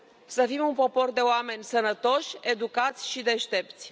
să fim un popor de oameni sănătoși, educați și deștepți.